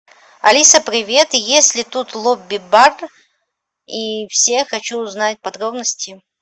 алиса привет есть ли тут лобби бар и все хочу узнать подробности